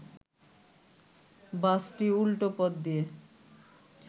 বাসটি উল্টো পথ দিয়ে